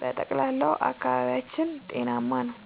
በጠቅላላው አካባቢያችን ጤናማ ነው።